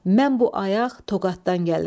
Mən bu ayaq Toqatdan gəlirəm.